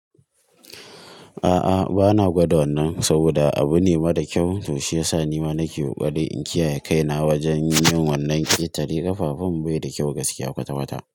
A'a bana gwada wannan saboda abu ne mara kyau to shiyasa ni ma nake ƙoƙari in kiyaye kaina wajen yin wannan ƙetare ƙafafun bai da kyau gaskiya kwata kwata.